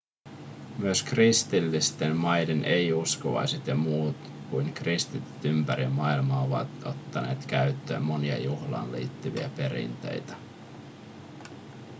myös kristillisten maiden ei-uskovaiset ja muut kuin kristityt ympäri maailman ovat ottaneet käyttöön monia juhlaan liittyviä perinteitä